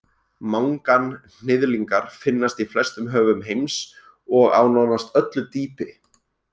Manganhnyðlingar finnast í flestum höfum heims og á nánast öllu dýpi.